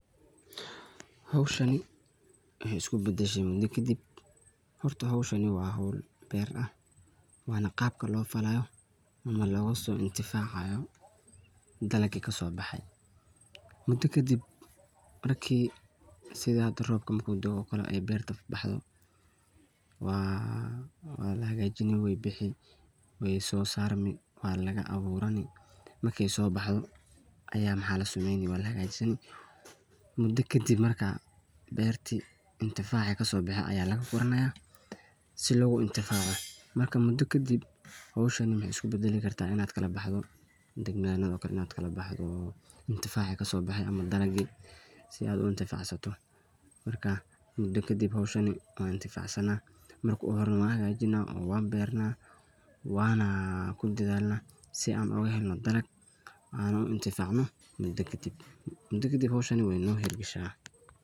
Hawshani waxaay isku badashay mudo kadib. Horto howshan waa hawl beer ah. Waa qaabka loo falaayo ama looga soo intifaacayo dalagii kasoo baxay. Mudo kadib markii sidii roobka da'o camal oo beerta ay baxdo waa la hagaajinaa. Wey soo bixii, wey soo sarmee, waa lagu abuuranaa. Marka ay soo baxdo ayaa la hagaajiyaa. Mudo kadib ayaa beertii intifaacii kasoo baxay ayaa la guranayaa si looga intifaaco. Mudo kadib waxay hawshani isku beddeli kartaa in kala baxdo dibnaano oo kale oo intifaaci kasoo baxay ama dalagyadii si aad u intifaacsato. Marka mudo kadib hawshani waa intifaacsani. Marka horana waan hagaajinaa oo waan beernaa oo waan ku dadaalnaa si aan ugu helno dalag aan ugu intifaacno. Mudo kadib, mudo kadib hawshan wey no hiir gashaa.